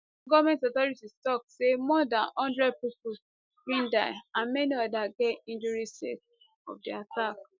goment authorities tok say more dan one hundred pipo bin die and many odas get injury sake of di attack